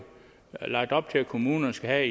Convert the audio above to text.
lagt op til at kommunerne skal have